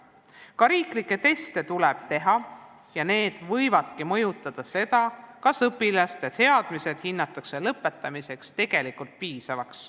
Ka riiklikke teste tuleb teha ja need võivadki mõjutada seda, kas õpilaste teadmised hinnatakse lõpetamiseks piisavaks.